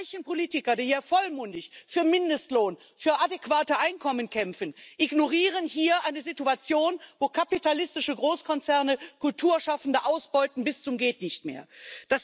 Die gleichen Politiker, die hier vollmundig für Mindestlohn, für adäquate Einkommen kämpfen, ignorieren hier eine Situation, in der kapitalistische Großkonzerne Kulturschaffende bis zum Gehtnichtmehr ausbeuten.